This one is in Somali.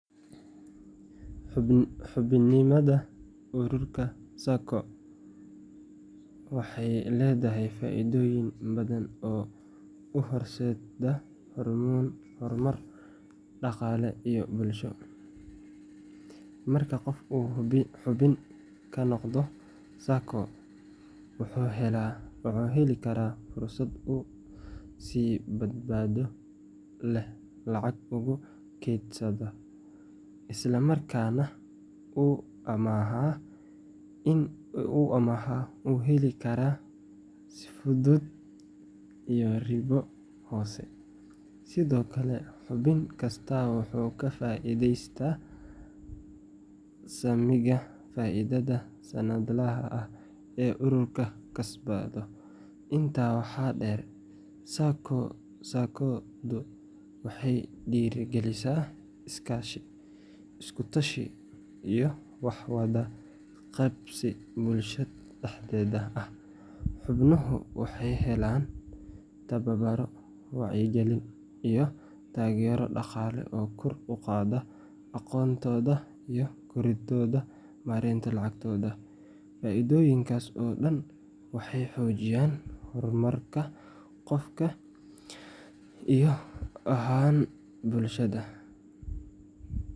Xubinimada ururka SACCO waxay leedahay faa’iidooyin badan oo u horseeda horumar dhaqaale iyo bulsho. Marka qof uu xubin ka noqdo SACCO, wuxuu heli karaa fursad uu si badbaado leh lacag ugu kaydsado, isla markaana uu amaah u heli karo si fudud iyo ribo hoose. Sidoo kale, xubin kastaa wuxuu ka faa’iidaystaa saamiga faa’iidada sanadlaha ah ee ururku kasbado. Intaa waxaa dheer, SACCO-du waxay dhiirrigelisaa iskaashi, isku-tashi, iyo wax-wada-qabsi bulshada dhexdeeda ah. Xubnuhu waxay helaan tababaro, wacyigelin, iyo taageero dhaqaale oo kor u qaada aqoontooda iyo kartidooda maareynta lacagtooda. Faa’iidooyinkaas oo dhan waxay xoojiyaan horumarka qofka iyo guud ahaan bulshada.